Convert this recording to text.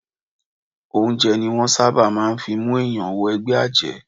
Oúnjẹ ni wọ́n ṣábà máà ń fí mú ènìyàn wọ ẹgbẹ́ àjẹ́.